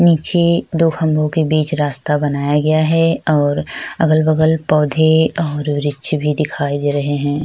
निचे दो खम्बो के बिच रास्ता बनाया गया है और अगल - बगल पौधे और वृक्ष भी दिखाई दे रहै है।